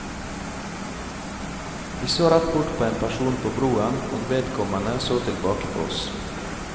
Vi så rett bort på en person på broen, og vedkommende så tilbake på oss.